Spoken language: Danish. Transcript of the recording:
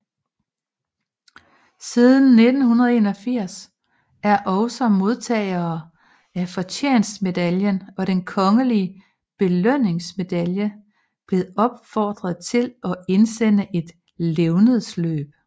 Siden 1981 er også modtagere af Fortjenstmedaljen og Den Kongelige Belønningsmedalje blevet opfordret til at indsende et levnedsløb